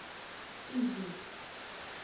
izulu